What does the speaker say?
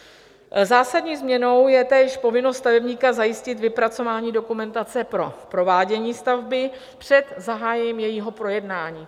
Zásadní změnou je též povinnost stavebníka zajistit vypracování dokumentace pro provádění stavby před zahájením jejího projednání.